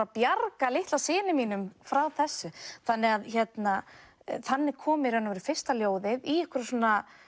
að bjarga litla syni mínum frá þessu þannig þannig kom í raun og veru fyrsta ljóðið í einhverju svona